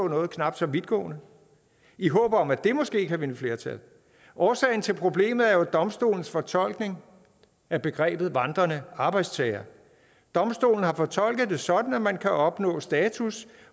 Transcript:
noget knap så vidtgående i håb om at det måske kan vinde flertal årsagen til problemet er jo domstolens fortolkning af begrebet vandrende arbejdstager domstolen har fortolket det sådan at man kan opnå status